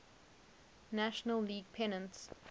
national league pennants